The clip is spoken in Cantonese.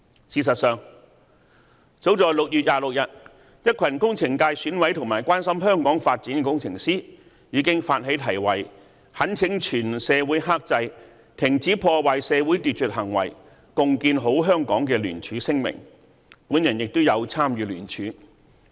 事實上，早在6月26日，一群工程界選委及關心香港發展的工程師，已發起題為"懇請全社會克制、停止破壞社會秩序行為、共建好香港"的聯署聲明，我也有參與聯署。